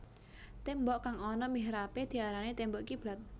Témbok kang ana mihrabé diarani témbok kiblat